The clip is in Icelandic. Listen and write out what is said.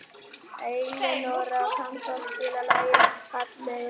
Elinóra, kanntu að spila lagið „Fallegur dagur“?